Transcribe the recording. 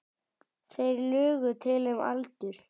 Þeir lugu til um aldur.